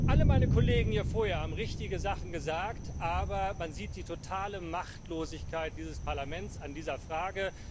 Alle meine Kollegen hier vorher haben richtige Sachen gesagt, aber man sieht die totale Machtlosigkeit dieses Parlaments in dieser Frage.